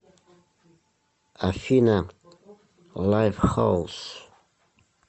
афина лайфхаус